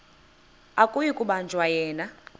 akuyi kubanjwa yena